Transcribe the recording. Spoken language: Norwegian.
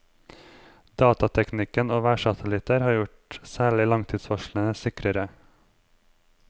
Datateknikken og værsatellitter har gjort særlig langtidsvarslene sikrere.